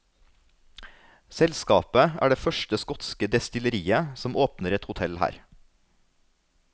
Selskapet er det første skotske destilleriet som åpner et hotell her.